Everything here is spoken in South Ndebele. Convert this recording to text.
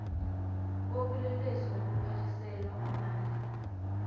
bobulelesi nokuphaliselwa amandla